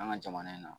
An ka jamana in na